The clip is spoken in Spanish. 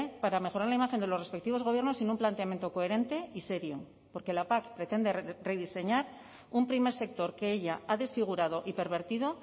para mejorar la imagen de los respectivos gobiernos sin un planteamiento coherente y serio porque la pac pretende rediseñar un primer sector que ella ha desfigurado y pervertido